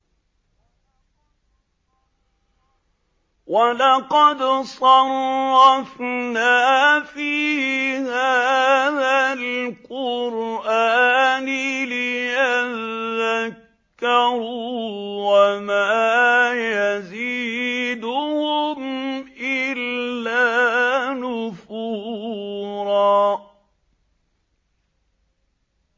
وَلَقَدْ صَرَّفْنَا فِي هَٰذَا الْقُرْآنِ لِيَذَّكَّرُوا وَمَا يَزِيدُهُمْ إِلَّا نُفُورًا